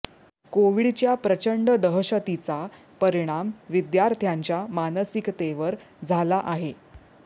कोव्हिडच्या प्रचंड दहशतीचा परिणाम विद्यार्थ्यांच्या मानसिकतेवर झाला आहे